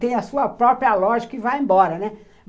tem a sua própria lógica e vai embora, né?